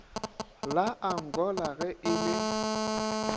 la angola ge e le